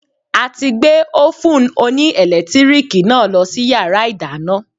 A ti gbé Ófùn oní ẹ̀lẹ́tíríìkì náà lọ sí yàrá ìdáná.